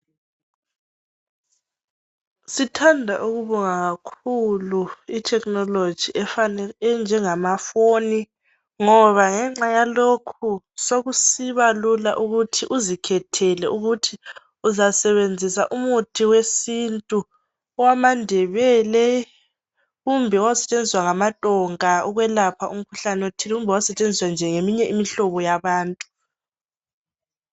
Sithanda ukubonga kakhulu ithekhinoloji enjengamaphone ngoba ngenxa yalokhu sokusiba lula ukuthi uzikhethele ukuthi uzasebenzisa umuthi wesintu owamaNdebele kumbe owawusetshenziswa ngamaTonga ukwelapha umkhuhlane othile kumbe owawusetshenziswa nje ngeminye imihlobo yabantu.